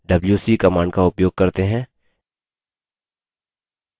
अब इस file पर wc command का उपयोग करते हैं